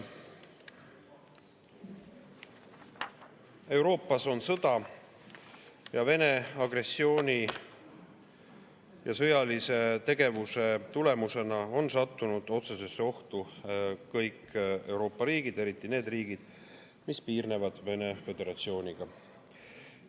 Euroopas on sõda ning Vene agressiooni ja sõjalise tegevuse tulemusena on sattunud otsesesse ohtu kõik Euroopa riigid, eriti need riigid, mis piirnevad Venemaa Föderatsiooniga.